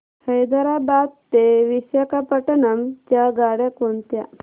हैदराबाद ते विशाखापट्ण्णम च्या गाड्या कोणत्या